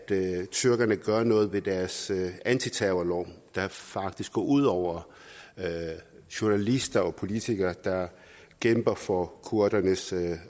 tyrkerne gør noget ved deres antiterrorlov der faktisk går ud over journalister og politikere der kæmper for kurdernes